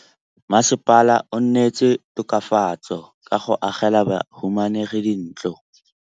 Mmasepala o neetse tokafatsô ka go agela bahumanegi dintlo.